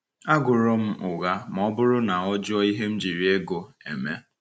Agụrọ m ụgha ma ọ bụrụ na ọ jụọ ihe m jiri ego eme.